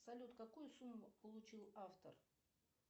салют какую сумму получил автор